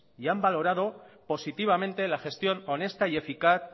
y han valorado positivamente la gestión honesta y eficaz